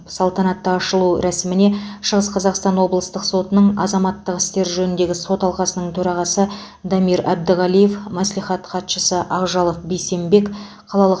салтанатты ашылу рәсіміне шығыс қазақстан облыстық сотының азаматтық істер жөніндегі сот алқасының төрағасы дамир әбдіғалиев мәслихат хатшысы ақжалов бейсенбек қалалық